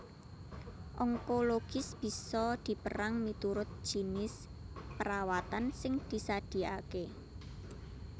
Onkologis bisa dipérang miturut jinis perawatan sing disadiakaké